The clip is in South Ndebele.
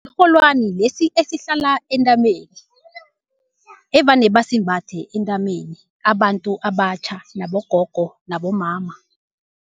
Sirholwani lesi esihlala entameni, evane basimbathe entameni abantu abatjha nabogogo nabomama.